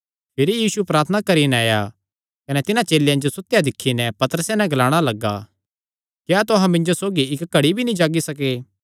भिरी यीशु प्रार्थना करी नैं आया कने तिन्हां चेलेयां जो सुतेयो दिक्खी नैं पतरसे नैं ग्लाणा लग्गा क्या तुहां मिन्जो सौगी इक्क घड़ी भी नीं जागी सके